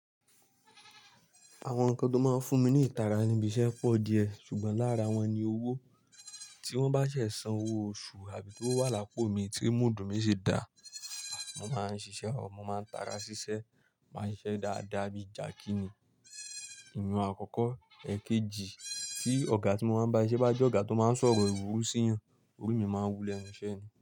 Àwọn nǹkan tó máa ń fún mi ní ìtara ni ibi iṣẹ́ pọ̀ díẹ̀, ṣùgbọ́n lára wọn ni owó. Tí wọ́n bá ṣẹ̀ san owó oṣù àbí tówo wà lápò mi tí móodù mí ṣi dá, mo máa ń ṣiṣẹ́, ò, mo máa ń tara ṣíṣe, màá ń siṣe dáadáa bí i Jàkí ní. Ìyiun àkọ́kọ́, ẹkéjì, tí ọ̀gá tí mo máa ń bá siṣẹ́ bá jẹ́ ọ̀gá tó máa ń sọ̀rọ̀ ìwúru sí yàn, orí mi máa ń wú lẹ́nu iṣẹ́ ni.